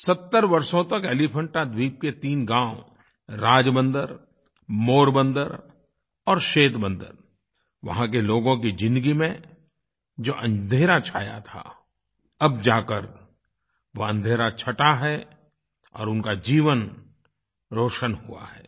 70 वर्षों तक एलीफेंटा द्वीप के तीन गाँव राजबंदर मोरबंदर और सेंतबंदर वहाँ के लोगों की ज़िन्दगी में जो अँधेरा छाया था अब जाकर वह अँधेरा छँटा है और उनका जीवन रोशन हुआ है